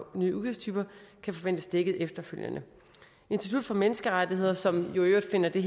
nye udgiftstyper kan forventes dækket efterfølgende institut for menneskerettigheder som jo i øvrigt finder den